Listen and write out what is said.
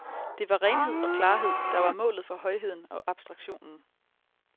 Det var renhed og klarhed, der var målet for højheden og abstraktionen.